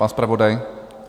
Pan zpravodaj?